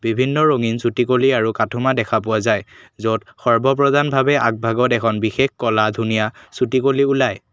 বিভিন্ন ৰঙীন চুটিকলি আৰু কথুমা দেখা পোৱা যায় য'ত সৰ্বপ্ৰজান ভাৱে আগভাগত এখন বিশেষ ক'লা ধুনীয়া চুটিকলি ওলায়।